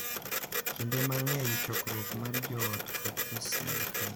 Kinde mang’eny, chokruok mar joot kod osiepe .